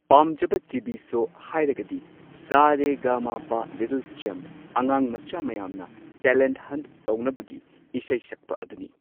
ꯄꯥꯝꯖꯕ TV. Show ꯍꯥꯏꯔꯒꯗꯤ Sa Re Ga Ma Pa little champ ꯑꯉꯥꯡ ꯃꯆꯥ ꯃꯌꯥꯝꯅ ꯇꯦꯂꯦꯟꯠ ꯍꯟꯠ ꯇꯧꯅꯕꯒꯤ ꯏꯁꯩ ꯁꯛꯄ ꯑꯗꯨꯅꯤ꯫